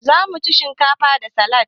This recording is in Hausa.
Zamu ci shinkafa da salad.